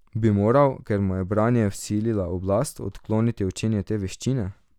Bi moral, ker mu je branje vsilila oblast, odkloniti učenje te veščine?